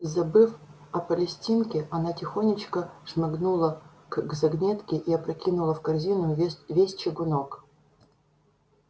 забыв о палестинке она тихонечко шмыгнула к загнётке и опрокинула в корзинку ве весь чугунок